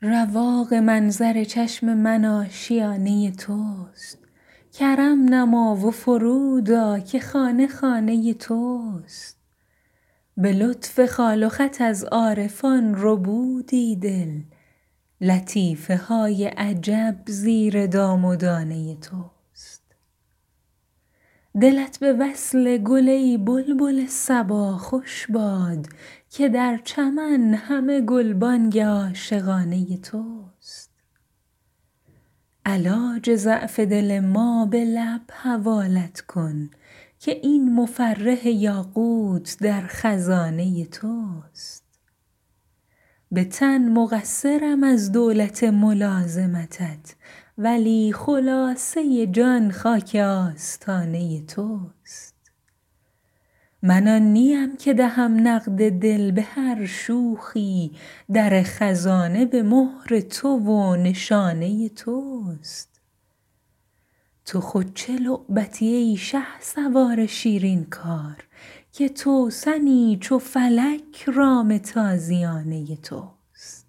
رواق منظر چشم من آشیانه توست کرم نما و فرود آ که خانه خانه توست به لطف خال و خط از عارفان ربودی دل لطیفه های عجب زیر دام و دانه توست دلت به وصل گل ای بلبل صبا خوش باد که در چمن همه گلبانگ عاشقانه توست علاج ضعف دل ما به لب حوالت کن که این مفرح یاقوت در خزانه توست به تن مقصرم از دولت ملازمتت ولی خلاصه جان خاک آستانه توست من آن نیم که دهم نقد دل به هر شوخی در خزانه به مهر تو و نشانه توست تو خود چه لعبتی ای شهسوار شیرین کار که توسنی چو فلک رام تازیانه توست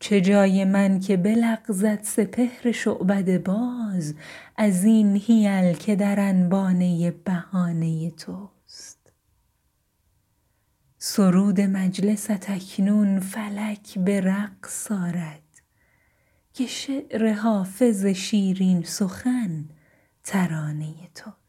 چه جای من که بلغزد سپهر شعبده باز از این حیل که در انبانه بهانه توست سرود مجلست اکنون فلک به رقص آرد که شعر حافظ شیرین سخن ترانه توست